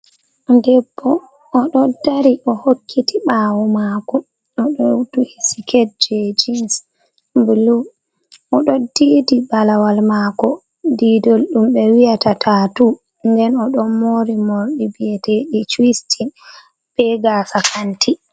Debbo o ɗo dari o hokkiti ɓawo mako, o ɗo duhi siket je jins bulu, o ɗo didi balawal mako didol dumɓe wiyata tatu , nden o ɗo mori morɗi biyeteɗi cuistin be gasa kanti.